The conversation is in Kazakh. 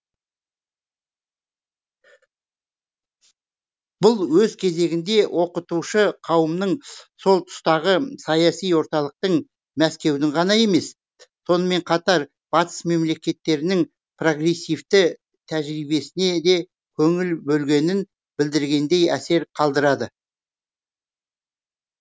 бұл өз кезегінде оқытушы қауымның сол тұстағы саяси орталықтың мәскеудің ғана емес сонымен қатар батыс мемлекеттерінің прогрессивті тәжірибесіне де көңіл бөлгенін білдіргендей әсер қалдырады